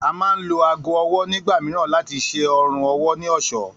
A máa ń lo aago o̩wó̩ nígbà mìíràn láti s̩e o̩rùn owó̩ ní ò̩só̩